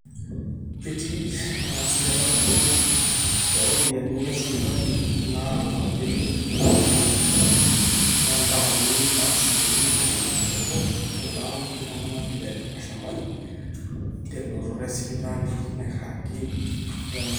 etii eng'asiata sapuk tooropiyiani esipitali naalaki iltung'anak loontaoni aa asilimia ntomoni isiet oobo alang iltung'anak le mashambani telototo esipitali nairagi wenemeiragi